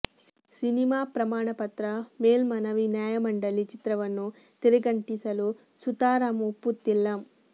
cinema ಪ್ರಮಾಣ ಪತ್ರ ಮೇಲ್ಮನವಿ ನ್ಯಾಯಮಂಡಲಿ ಚಿತ್ರವನ್ನು ತೆರೆಗಂಟಿಸಲು ಸುತಾರಾಂ ಒಪ್ಪುತ್ತಿಲ್ಲ